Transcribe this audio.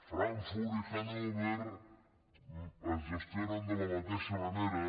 frankfurt i hannover es gestionen de la mateixa manera